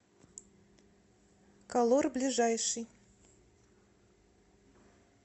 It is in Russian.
колор ближайший